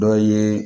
Dɔ ye